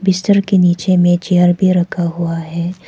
बिस्तर के नीचे में चेयर भी रखा हुआ है।